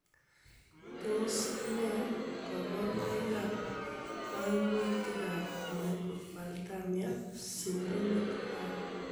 Tos nee koborunoikab koimutitab Microphthalmia syndromic 5?